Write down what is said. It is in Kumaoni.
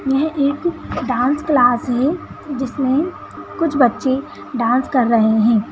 यह एक डांस क्लास है जिसमें कुछ बच्चे डांस कर रहे हैं।